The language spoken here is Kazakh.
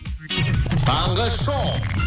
таңғы шоу